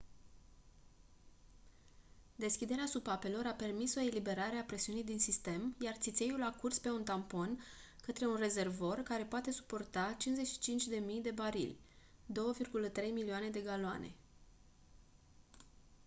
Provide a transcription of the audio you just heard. deschiderea supapelor a permis o eliberare a presiunii din sistem iar țițeiul a curs pe un tampon către un rezervor care poate suporta 55.000 de barili 2.3 milioane de galoane